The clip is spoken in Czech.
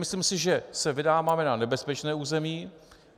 Myslím si, že se vydáváme na nebezpečné území.